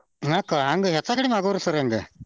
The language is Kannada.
ಹಂಗ ಹೆಚ್ಚ ಕಡಿಮಿ ಆಗೋವ್ರಿ sir ಹಂಗ.